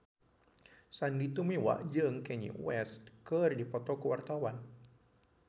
Sandy Tumiwa jeung Kanye West keur dipoto ku wartawan